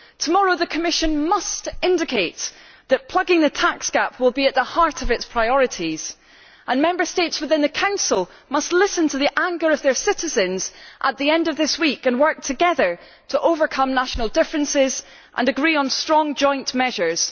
Tomorrow the Commission must indicate that plugging the tax gap will be at the heart of its priorities, and Member States within the Council must listen to the anger of their citizens at the end of this week and work together to overcome national differences and agree on strong joint measures.